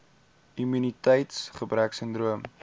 immuniteits gebrek sindroom